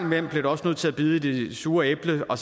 nødt til at bide i det sure æble og